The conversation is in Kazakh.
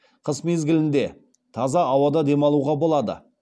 қыс мезгілінде таза ауада демалуға болады